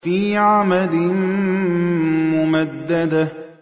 فِي عَمَدٍ مُّمَدَّدَةٍ